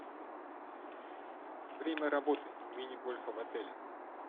время работы мини гольфа в отеле